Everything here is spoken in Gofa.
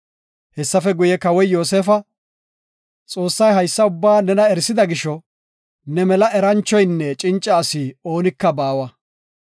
Hessafe guye Kawoy Yoosefa, “Xoossay haysa ubba nena erisida gisho, ne mela eranchoynne cinca asi oonika baawa.